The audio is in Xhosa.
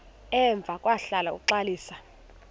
emva kwahlala uxalisa